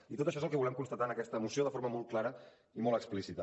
i tot això és el que volem constatar en aquesta moció de forma molt clara i molt explícita